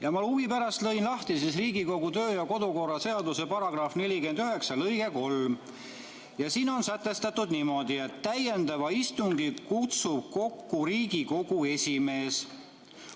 Ma lõin huvi pärast lahti Riigikogu kodu- ja töökorra seaduse § 49 ja siin lõikes 3 on sätestatud niimoodi: "Täiendava istungi kutsub kokku Riigikogu esimees.